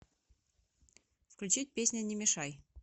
включить песня не мешай